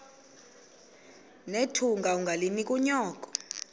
nethunga ungalinik unyoko